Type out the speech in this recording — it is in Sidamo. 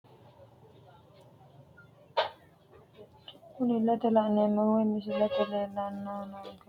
Kuni ilete la`neemohu woyi misilete leelani noonkehu dadalu mine ikke qaaqu mine uure buskuute ikani afamano saafu giddo kayini babaxitino agato no.